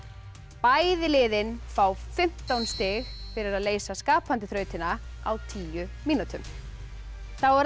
bæði liðin fá fimmtán stig fyrir að leysa skapandi þrautina á tíu mínútum þá er það